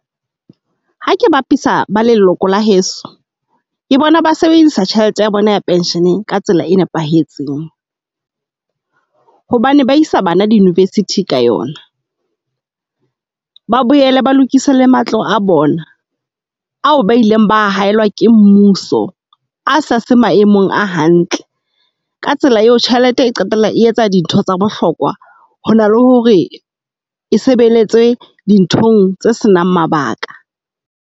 Ha ke bapisa ba leloko la heso ke bona ba sebedisa tjhelete ya bona ya pension ka tsela e nepahetseng. Hobane ba isa bana di university ka yona, ba boele ba lokise le matlo a bona ao ba ileng ba haellwa ke mmuso a sa se maemong a hantle. Ka tsela eo, tjhelete e qetella e etsa dintho tsa bohlokwa, hona le hore e sebeletse dinthong tse senang mabaka.